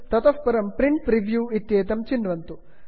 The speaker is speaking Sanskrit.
ततः परं प्रिंट प्रिव्यू प्रिण्ट् प्रिव्यू इत्येतत् चिन्वन्तु